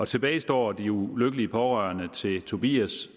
tilbage står de ulykkelige pårørende til tobias